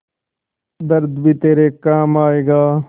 दर्द भी तेरे काम आएगा